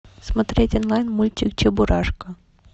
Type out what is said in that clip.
смотреть онлайн мультик чебурашка